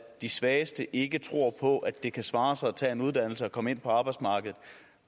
de svageste ikke tror på at det kan svare sig at tage en uddannelse og komme ind på arbejdsmarkedet